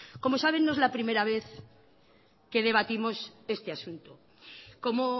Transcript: como saben no es la primera vez que debatimos este asunto como